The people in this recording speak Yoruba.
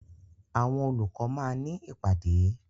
Àwọn olùkọ́ máa ní ìpàdé.